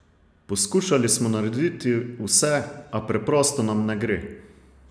Poskušali smo narediti vse, a preprosto nam ne gre!